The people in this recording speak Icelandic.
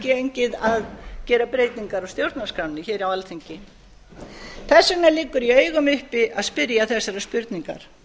gengið að bera breytingar á stjórnarskránni á alþingi þess vegna liggur í augum uppi að spyrja þessarar spurningar